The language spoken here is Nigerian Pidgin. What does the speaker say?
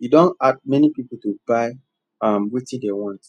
e don hard many people to buy um wetin dem want